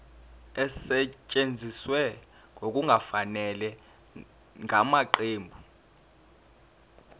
esetshenziswe ngokungafanele ngamaqembu